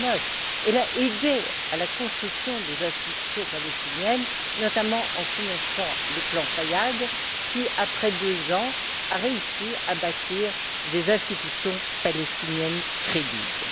2009. Elle a aidé à la construction des institutions palestiniennes, notamment en finançant le plan Fayad qui, après deux ans, a réussi à bâtir des institutions palestiniennes crédibles.